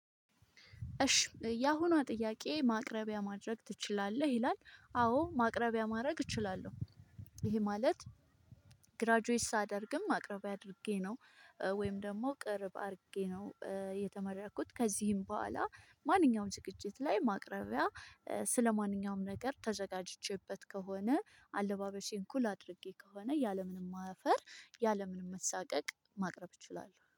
እሽ ያሁኗ ጥያቄ ማቅረቢያ ማድረግ ትችላለህ? ይላል አዎ ማቅረቢያ ማድረግ እችላለሁ። ይሄ ማለት ግራጁዌት ሳደርግም ማቅርቢያ አድርጌ ነው ወይም ደግሞ ቅርብ አድርጌ ነው የተመረኩት። ከዚህም በኋላ ማንኛውም ዝግጅት ላይ ማቅረቢያ ስለማንኛውም ነገር ተዘጋጅቼበት ከሆነ አለባበሴን ኩል አድርጌ ከሆነ ያለምንም ማፈር ያለምንም መሳቀቅ ማቅረብ እችላለሁ